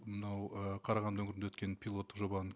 мынау ы қарағанды өңірінде өткен пилоттық жобаны